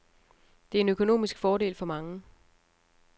Det er en økonomisk fordel for mange.